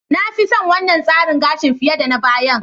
Na fi son wannan tsarin gashin fiye da na bayan.